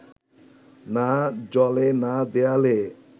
না জলে না দেয়ালে